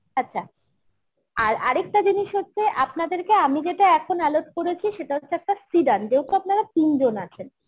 আচ্ছা আর একটা জিনিস হচ্ছে আপনাকে যে আমি যেটা এখন allot করেছি, সেটা হচ্ছে একটা সিড্যান্ড যেহেতু আপনারা তিনজন আছেন